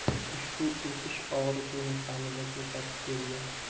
Ushbu o‘sish og‘riqli nuqtamizni ko‘rsatib berdi.